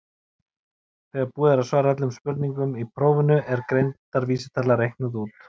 þegar búið er að svara öllum spurningum í prófinu er greindarvísitala reiknuð út